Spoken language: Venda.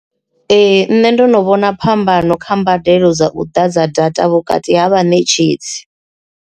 Ee, nṋe ndono vhona phambano kha mbadelo dza u ḓa dza data vhukati ha vha ṋetshedzi.